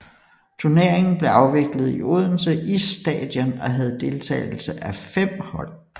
Turneringen blev afviklet i Odense Isstadion og havde deltagelse af fem hold